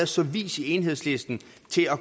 så vis i enhedslisten